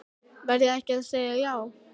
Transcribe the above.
Verð ég ekki að segja já?